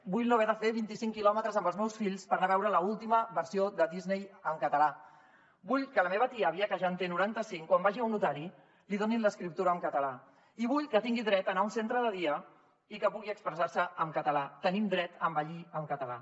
vull no haver de fer vint i cinc quilòmetres amb els meus fills per anar a veure l’última versió de disney en català vull que la meva tia àvia que ja en té noranta cinc quan vagi a un notari li donin l’escriptura en català i vull que tingui dret a anar a un centre de dia i que pugui expressar se en català tenim dret a envellir en català